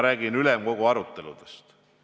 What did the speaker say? Räägin ülemkogu aruteludest.